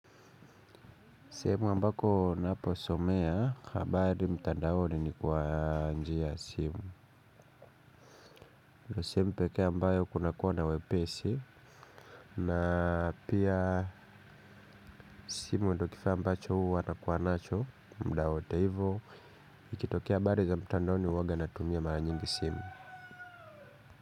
Sehemu ambako ninaposomea, habari mtandaoni ni kwa njia ya simu. Ndio sehemu pekee ambayo kunakuwa na wepesi. Na pia simu ndio kifaa ambacho huwa nakuwa nacho, muda wote hivyo. Ikitokea habari za mtandaoni huwanga natumia mara nyingi simu.